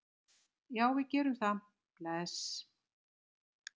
Já, við gerum það. Bless.